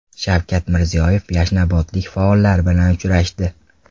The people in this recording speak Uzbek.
Shavkat Mirziyoyev yashnobodlik faollar bilan uchrashdi.